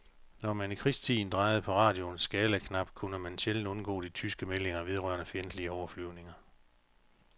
Når man i krigstiden drejede på radioens skalaknap, kunne man sjældent undgå de tyske meldinger vedrørende fjendtlige overflyvninger.